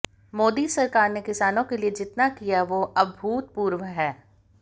मोदी सरकार ने किसानों के लिए जितना किया वो अभूतपूर्व है